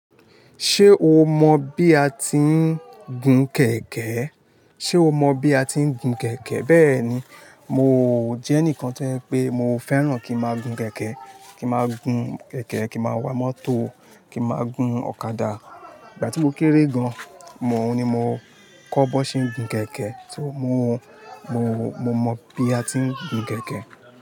Ṣé o mọ bi a ti ń gun kẹ̀kẹ́e? Ṣé o mọ bi a ti ń gun kẹ̀kẹ́? Bẹ́ẹ̀ni, mo jẹ́ ẹnìkan to je pé mo fẹ́ràn kí n máa gun kẹ̀kẹ́, kí n máa gun kẹ̀kẹ́, kí n máa wa mọ́tò, kí n máa gun ọ̀kadà. Ìgbà tí mo kéré gan, mòó ni mo kọ́ bọ̀n ṣé ń gun kẹ̀kẹ́, so mo mo, mo mọ bi a ti ń gun kẹ̀kẹ́.